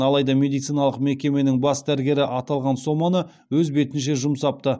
алайда медициналық мекеменің бас дәрігері аталған соманы өз бетінше жұмсапты